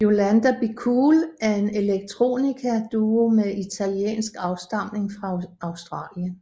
Yolanda Be Cool er en electronica duo med italiensk afstamning fra Australien